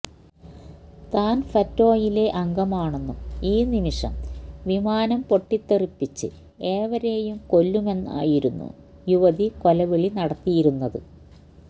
താന് ഫെറ്റോയിലെ അംഗമാണെന്നും ഈ നിമിഷം വിമാനം പൊട്ടിത്തെറിപ്പിച്ച് ഏവരെയും കൊല്ലുമെന്നുമായിരുന്നു യുവതി കൊലവിളി നടത്തിയിരുന്നത്